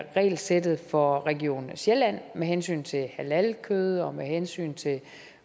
regelsættet for region sjælland med hensyn til halalkød og med hensyn til